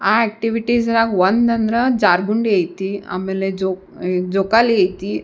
ಆ ಆಕ್ಟಿವಿಟಿಸ್ ನ್ಯಾಗ್ ಒಂದಂದ್ರ ಜಾರ್ ಬಂಡಿ ಐತಿ ಆಮೇಲೆ ಜೋಕ್ ಜೋಕಾಲಿ ಐತಿ .